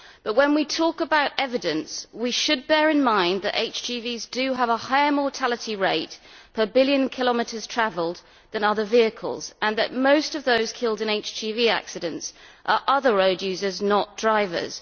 But when we talk about evidence we should bear in mind that HGVs have a higher mortality rate per billion kilometres travelled than other vehicles and that most of those killed in HGV accidents are other road users, not drivers.